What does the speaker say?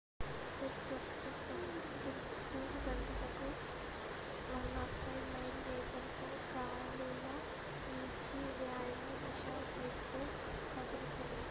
Fred ప్రస్తుతం గంటకు 105 మైళ్ల వేగంతో 165 కి.మీ./గం గాలులు వీచి వాయువ్య దిశ వైపు కదులుతోంది